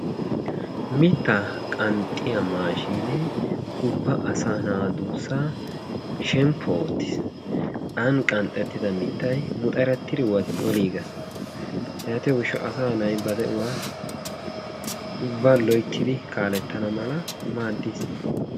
Mitta qanxiyaa maashinne ubba asa naa duussaa shemppo oottis. Aani qanxettida mittay muxerettid oliiges yaatiyo gishshawu asaa na'ay ba de'uwaa ubbaa loyttidi kaalettana malla maadis.